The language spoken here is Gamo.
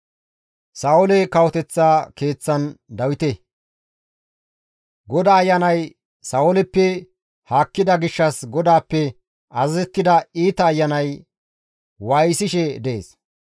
GODAA Ayanay Sa7ooleppe haakkida gishshas GODAAPPE azazettida iita ayanay waayisishe dees.